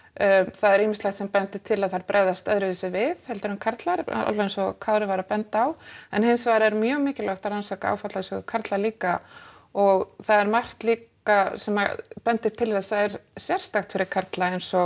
það er ýmislegt sem bendir til að þær bregðist öðruvísi við heldur en karlar alveg eins og Kári var að benda á en hins vegar er mjög mikilvægt að rannsaka áfallasögu karla líka og það er margt líka sem bendir til þess að er sérstakt fyrir karla eins og